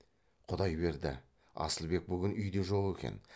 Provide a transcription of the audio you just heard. құдай берді асылбек бүгін үйде жоқ екен